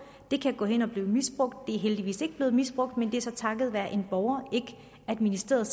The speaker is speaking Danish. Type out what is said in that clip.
det kan gå hen og blive misbrugt det er heldigvis ikke blevet misbrugt men det er så takket være en borger ministeriet